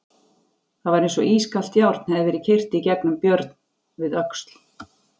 Það var eins og ískalt járn hefði verið keyrt í gegnum Björn við öxl.